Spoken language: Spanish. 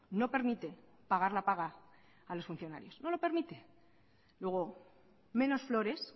no permite pagar la paga a los funcionarios no lo permite luego menos flores